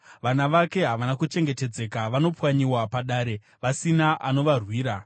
Vana vake havana kuchengetedzeka, vanopwanyiwa padare vasina anovarwira.